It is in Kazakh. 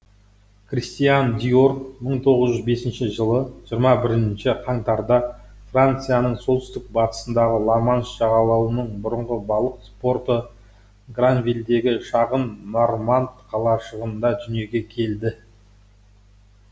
кристиан диор мың тоғыз жүз бесінші жылы жиырма бірінші қаңтарда францияның солтүстік батысындағы ла манш жағалауының бұрынғы балық порты гранвильдегі шағын нарманд қалашығында дүниеге келді